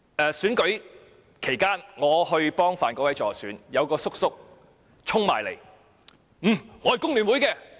在選舉期間，當我為范國威議員助選時，有一名叔叔衝過來說："我是工聯會的。